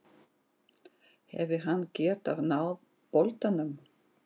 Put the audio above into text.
Hefði hann getað náð boltanum?